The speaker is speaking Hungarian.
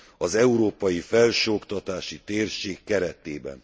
az európai felsőoktatási térség keretében.